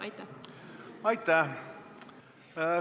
Aitäh!